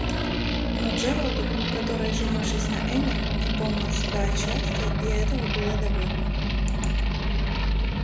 но джералду который женившись на эллин не помнил себя от счастья и этого было довольно